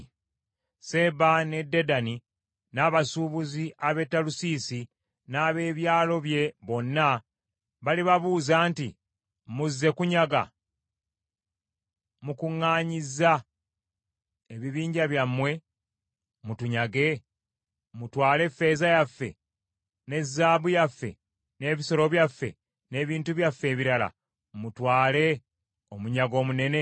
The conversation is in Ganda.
Seeba ne Dedani n’abasuubuzi ab’e Talusiisi n’ab’ebyalo bye bonna balibabuuza nti, “Muzze kunyaga? Mukuŋŋaanyizza ebibinja byammwe mutunyage, mutwale effeeza yaffe ne zaabu yaffe, n’ebisolo byaffe n’ebintu byaffe ebirala, mutwale omunyago omunene?” ’